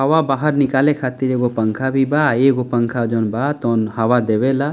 हवा बाहर निकले खातिर एगो पंखा भी बा अ एगो पंखा जोन बा तोन हवा देवेला।